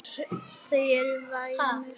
Þau eru væmin.